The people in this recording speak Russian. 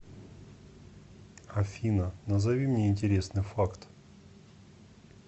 афина назови мне интересный факт